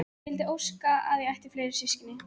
Ég vildi óska að ég ætti fleiri systkini.